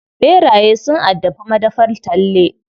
Ɓeraye sun addabi madafar Talle.